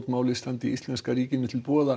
máli standi íslenska ríkinu til boða